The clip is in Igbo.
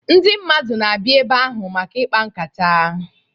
Ndị mmadụ na-abịa ebe ahụ maka ịkpa nkata.